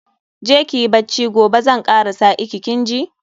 Je kiyi bacci, gobe zan kara sa iki, kin ji.